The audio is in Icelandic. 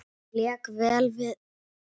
Ég lék vel þessa vikuna.